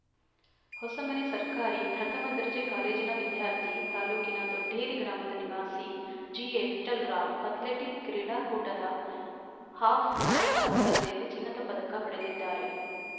ಹೊಸಮನೆ ಸರ್ಕಾರಿ ಪ್ರಥಮ ದರ್ಜೆ ಕಾಲೇಜಿನ ವಿದ್ಯಾರ್ಥಿ ತಾಲೂಕಿನ ದೊಡ್ಡೇರಿ ಗ್ರಾಮದ ನಿವಾಸಿ ಜಿಎವಿಠ್ಠಲರಾವ್‌ ಅಥ್ಲೆಟಿಕ್‌ ಕ್ರೀಡಾಕೂಟದ ಹಾಫ್‌ ಮ್ಯಾರಥಾನ್‌ ಸ್ಪರ್ಧೆಯಲ್ಲಿ ಚಿನ್ನದ ಪದಕ ಪಡೆದಿದ್ದಾರೆ